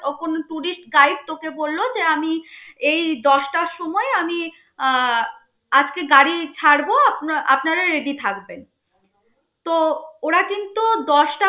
ও কোন tourist guide তোকে বলল যে আমি এই দশটার সময় আমি আহ আজকে গাড়ি ছাড়ব আপনা~ আপনারা ready থাকবেন. তো ওরা কিন্ত দশটা